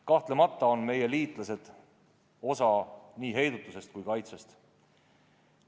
Kahtlemata on meie liitlased osa nii heidutusest kui ka kaitsest.